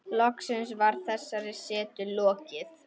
Loks var þessari setu lokið.